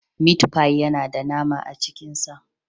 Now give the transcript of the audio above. Mit fi yana da nama a cikin sa.